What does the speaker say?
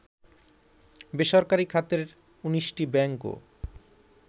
বেসরকারি খাতের ১৯টি ব্যাংকও